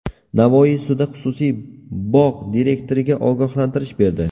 Navoiy sudi xususiy bog‘ direktoriga ogohlantirish berdi.